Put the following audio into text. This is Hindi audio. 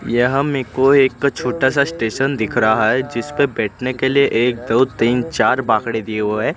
यहां में कोई एक तो छोटा सा स्टेशन दिख रहा है जिसपे बैठने के लिए एक दो तीन चार बाकड़े दिए हुए है।